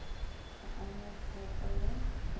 ga a na tshepo go